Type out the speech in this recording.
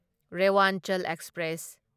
Rewanchal express